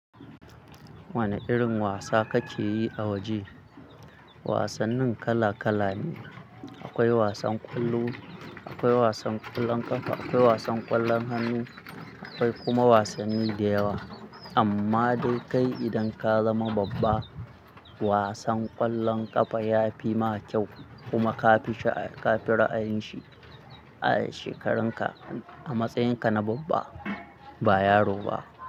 Wane irin wasa kake yi a waje? Wasannin kala kala ne. Akwai wasan ƙwallo, akwai wasan ƙwallon ƙafa, akwai wasan ƙwallon hannu, akwai kuma wasanni da yawa. Amma dai kai idan ka zama babba, wasan ƙwallon ƙafa ya fi ma kyau kuma ka fi ra'ayin shi a shekarunka, a matsayinka na babba ba yaro ba.